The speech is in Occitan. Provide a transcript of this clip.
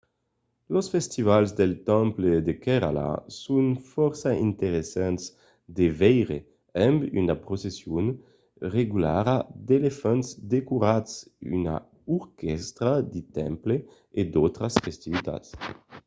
los festivals del temple de kerala son fòrça interessants de veire amb una procession regulara d'elefants decorats una orquèstra de temple e d'autras festivitats